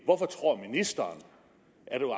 hvorfor tror ministeren at